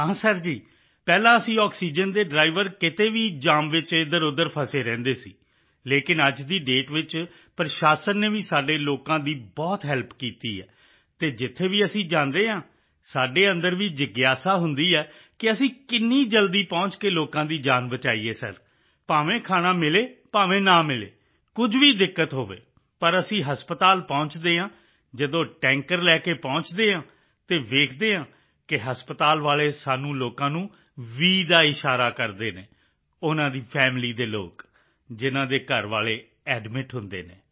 ਹਾਂ ਸਰ ਜੀ ਪਹਿਲਾਂ ਅਸੀਂ ਆਕਸੀਜਨ ਦੇ ਡ੍ਰਾਈਵਰ ਕਿਤੇ ਵੀ ਜਾਮ ਵਿੱਚ ਇੱਧਰਉੱਧਰ ਫਸੇ ਰਹਿੰਦੇ ਸੀ ਲੇਕਿਨ ਅੱਜ ਦੀ ਦਾਤੇ ਵਿੱਚ ਪ੍ਰਸ਼ਾਸਨ ਨੇ ਵੀ ਸਾਡੇ ਲੋਕਾਂ ਦੀ ਬਹੁਤ ਹੈਲਪ ਕੀਤੀ ਹੈ ਅਤੇ ਜਿੱਥੇ ਵੀ ਅਸੀਂ ਜਾਂਦੇ ਹਾਂ ਸਾਡੇ ਅੰਦਰ ਵੀ ਜਿਗਿਆਸਾ ਹੁੰਦੀ ਹੈ ਕਿ ਅਸੀਂ ਕਿੰਨੀ ਜਲਦੀ ਪਹੁੰਚ ਕੇ ਲੋਕਾਂ ਦੀ ਜਾਨ ਬਚਾਈਏ ਸਰ ਭਾਵੇਂ ਖਾਣਾ ਮਿਲੇ ਭਾਵੇਂ ਨਾ ਮਿਲੇ ਕੁਝ ਵੀ ਦਿੱਕਤ ਹੋਵੇ ਪਰ ਜਦੋਂ ਟੈਂਕਰ ਲੈ ਕੇ ਅਸੀਂ ਹਸਪਤਾਲ ਪਹੁੰਚਦੇ ਹਾਂ ਅਤੇ ਵੇਖਦੇ ਹਾਂ ਕਿ ਹਸਪਤਾਲ ਵਾਲੇ ਸਾਨੂੰ ਲੋਕਾਂ ਨੂੰ ਵ ਦਾ ਇਸ਼ਾਰਾ ਕਰਦੇ ਹਨ ਉਨ੍ਹਾਂ ਦੇ ਫੈਮਿਲੀ ਦੇ ਲੋਕ ਜਿਨ੍ਹਾਂ ਦੇ ਘਰ ਵਾਲੇ ਐਡਮਿਟ ਹੁੰਦੇ ਹਨ